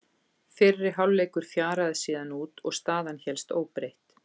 Fyrri hálfleikur fjaraði síðan út og staðan hélst óbreytt.